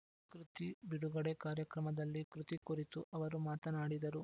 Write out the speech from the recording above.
ಕೃತಿ ಬಿಡುಗಡೆ ಕಾರ್ಯಕ್ರಮದಲ್ಲಿ ಕೃತಿ ಕುರಿತು ಅವರು ಮಾತನಾಡಿದರು